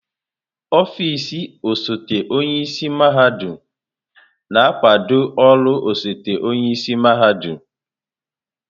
Ọfịs osote onye isi mahadum na-akwado ọrụ osote-onye isi mahadum.